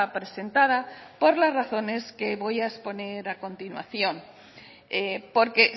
presentada por las razones que voy a exponer a continuación porque